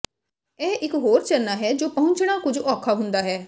ਇਹ ਇੱਕ ਹੋਰ ਝਰਨਾ ਹੈ ਜੋ ਪਹੁੰਚਣਾ ਕੁੱਝ ਔਖਾ ਹੁੰਦਾ ਹੈ